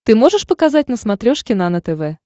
ты можешь показать на смотрешке нано тв